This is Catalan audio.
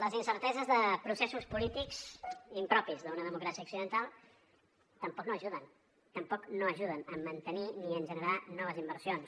les incerteses de processos polítics impropis d’una democràcia occidental tampoc no hi ajuden tampoc no ajuden a mantenir ni a generar noves inversions